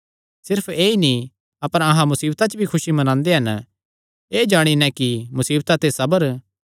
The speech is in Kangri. सिर्फ ऐई नीं अपर अहां मुसीबतां च भी खुसी मनांदे हन एह़ जाणी नैं कि मुसीबता ते सबर